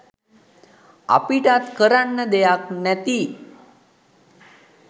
අපිටත් කරන්න දෙයක් නැති